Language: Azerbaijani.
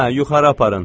Hə, yuxarı aparın.